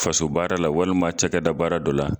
Faso baara la walima cakɛda baara dɔ la